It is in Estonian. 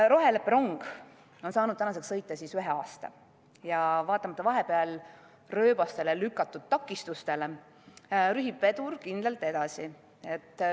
Roheleppe rong on saanud tänaseks sõita ühe aasta ja vaatamata vahepeal rööbastele lükatud takistustele, rühib vedur kindlalt edasi.